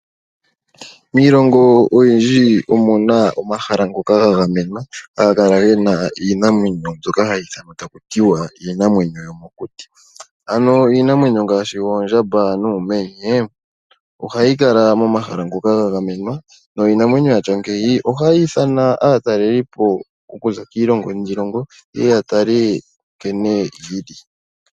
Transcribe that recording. Miilongo oyindji omuna omahala ngoka ga gamenwa haga kala gena iinamwenyo mbyoka hayi ithanwa taku tiwa iinamwenyo yomokuti. Ano iinamwenyo ngaashi oondjamba nuumenye ohayi kala momahala ngoka ga gamenwa niinamweno yatya ngeyi ohayi ithana aatalelipo okuza kiilongo niilongo ye ye yatale nkene yi li.